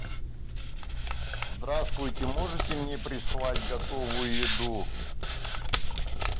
здравствуйте можете мне прислать готовую еду